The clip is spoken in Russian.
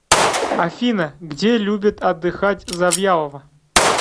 афина где любит отдыхать завьялова